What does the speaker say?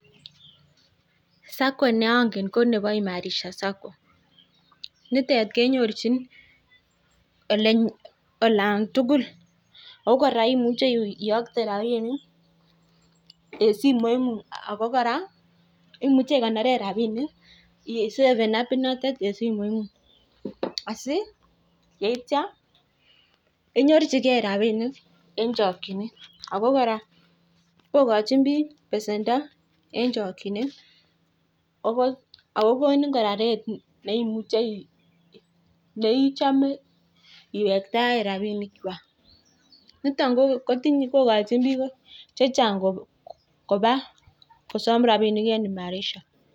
Sacco ne angen ko nebo imarisha sacco, nitet kenyorchin olan tugul, ako kora imuche iyokte rabiinik en simoingung, ako kora imuche ikonore rabiinik isaven apinotet en simoingung, asi yeityo inyorchikei rabiinik en chokchinet ako kora kokochin piik besendo en chokchinet, ako ko konin kora rate ne ichome iwektae rabiinikchwak, niton kokochin piik che chang koba kosom rabiinik en imarisha.